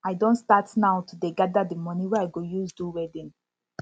i don start now to dey gada di moni wey i go use do wedding